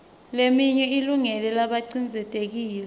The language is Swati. leminye ilungele labacindzetelekile